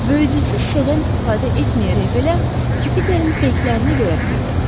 Böyüdücü şüşədən istifadə etməyərək belə Yupiterin peyklərini görə bilirdi.